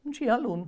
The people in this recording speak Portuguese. Não tinha aluno.